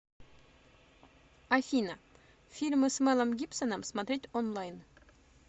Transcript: афина фильмы с мэлом гипсоном смотреть онлайн